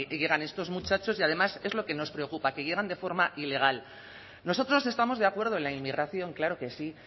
llegan estos muchachos y además es lo que nos preocupa que llegan de forma ilegal nosotros estamos de acuerdo en la inmigración claro que sí